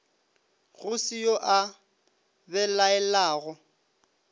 go se yo a belaelago